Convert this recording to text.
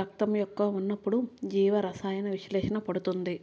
రక్తం యొక్క ఉన్నప్పుడు జీవ రసాయన విశ్లేషణ పడుతుంది